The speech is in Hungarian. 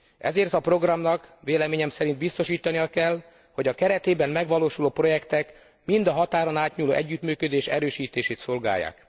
Ezért a programnak véleményem szerint biztosítania kell, hogy a keretében megvalósuló projektek mind a határon átnyúló együttműködés erősítését szolgálják.